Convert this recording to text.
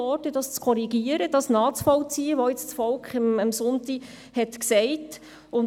Es wurde abgelehnt, das zu korrigieren, das nachzuvollziehen, was das Volk am Sonntag gesagt hat.